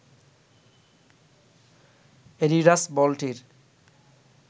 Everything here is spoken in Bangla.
অ্যাডিডাস বলটির